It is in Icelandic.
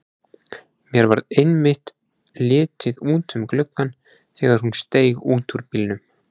Mér varð einmitt litið út um gluggann þegar hún steig út úr bílnum.